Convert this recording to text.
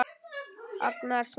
Agnes svarar.